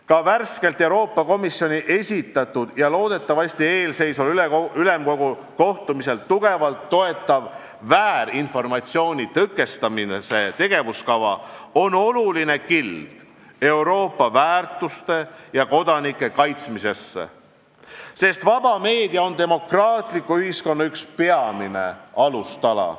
Ka värskelt Euroopa Komisjoni esitatud ja loodetavasti eelseisval Ülemkogu kohtumisel tugevalt toetatav väärinformatsiooni tõkestamise tegevuskava on oluline kild Euroopa väärtuste ja kodanike kaitsmisesse, sest vaba meedia on demokraatliku ühiskonna üks peamine alustala.